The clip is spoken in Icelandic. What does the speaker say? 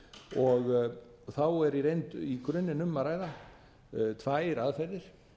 skuldbindingum þá er í reynd í grunninn um að ræða tvær aðferðir